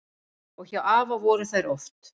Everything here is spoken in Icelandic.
Og hjá afa voru þær oft.